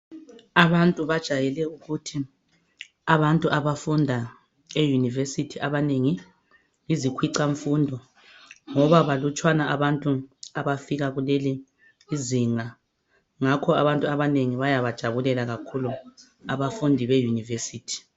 Abantu bajayele ukuthi abantu abafunda e university abanengi yizikhwaca mfundo ngoba banluntshwana abantu abafika kuleli izinga ngakho abantu abanengi bayabajabulela abafundi be university